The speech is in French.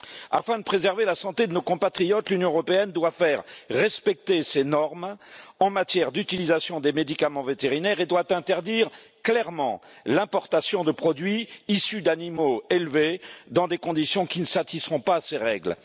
Afin de préserver la santé de nos compatriotes, l'Union européenne doit faire respecter ses normes en matière d'utilisation des médicaments vétérinaires et doit interdire clairement l'importation de produits issus d'animaux élevés dans des conditions qui ne satisfont pas à ces règles.